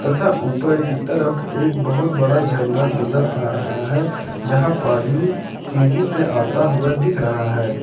तथा ऊपर की तरफ एक बहोत बड़ा झरना नजर आ रहा है यहां पानी तेजी से आता हुआ दिख रहा है।